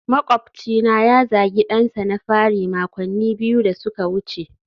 makwabcina ya zagi dansa na fari makonni biyu da suka wuce